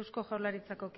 eusko jaurlaritzako